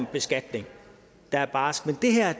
beskatning der er barsk men det her